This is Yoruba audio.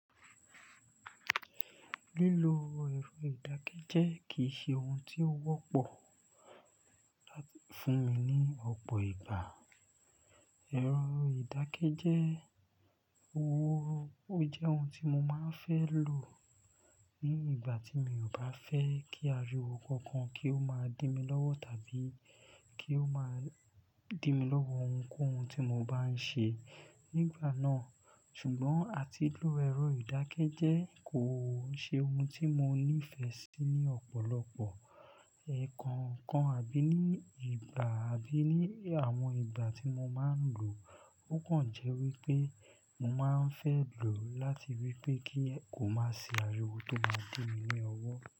Lílo ẹ̀rọ ìdákẹ́jẹ́ kì í ṣe ohun tí ó wọ́pọ̀ fún mi ní ọ̀pọ̀ ìgbà. Ẹ̀rọ ìdákẹ́jẹ́, ó jẹ́ ohun tí mo máa ń fẹ́ lò ní ìgbà tí mi ò bá fẹ́ kí ariwo kankan kí ó máa dí mi lọ́wọ́ tàbí kí ó máa dí mi lọ́wọ́ ohunkóhun tí mo bá ń ṣe nígbà náà. Ṣùgbọ́n àti lílo ẹ̀rọ ìdákẹ́jẹ́ kò ṣe ohun tí mo nífẹ̀ẹ́ sí ní ọ̀pọ̀lọpọ̀ ekankan àbí ní ìgbà àbí ní àwọn ìgbà tí mo máa ń lò ó. Kàn jẹ́ wí pé mo máa ń fẹ́ lò láti wí pé kí kò má ṣe ariwo tó máa dí mi ní ọwọ́.